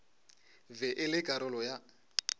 be e le karolo ya